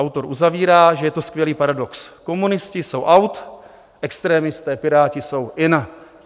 Autor uzavírá, že je to skvělý paradox - komunisti jsou out, extrémisté Piráti jsou in.